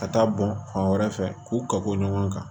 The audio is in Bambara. Ka taa bɔn fan wɛrɛ fɛ k'u ka ko ɲɔgɔn kan